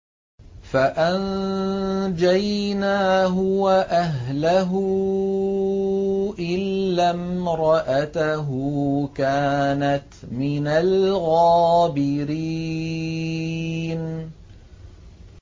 فَأَنجَيْنَاهُ وَأَهْلَهُ إِلَّا امْرَأَتَهُ كَانَتْ مِنَ الْغَابِرِينَ